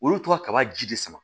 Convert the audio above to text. Olu tora kaba ji de sama